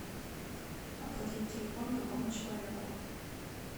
оплатить телефон другому человеку